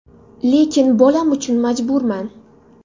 Lekin bolam uchun majburman.